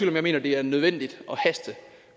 at jeg mener det er nødvendigt